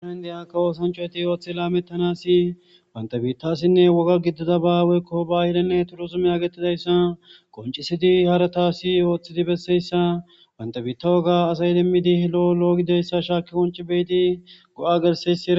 hn di akka oosancoeti ooththi laamettanasi wantabiittasinne woga giddida baaweykko baahilenne turozume agettidayssa qoncisidi haratasi ooththidi besseyssa wantabiitta woga asay demmidi lo7o lo7ogideyssa shaaki qonci beidi go7a gersesi